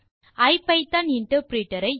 ஐபிதான் interpreter ஐ invoke செய்வோம்